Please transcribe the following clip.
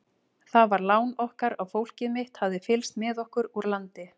Það var lán okkar að fólkið mitt hafði fylgst með okkur úr landi.